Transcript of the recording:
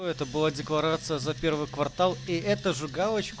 это была декларация за первый квартал и эта же галоч